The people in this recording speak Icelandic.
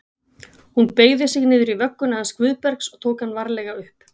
Hún beygði sig niður í vögguna hans Guðbergs og tók hann varlega upp.